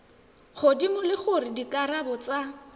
godimo le gore dikarabo tsa